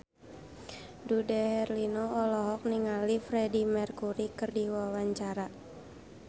Dude Herlino olohok ningali Freedie Mercury keur diwawancara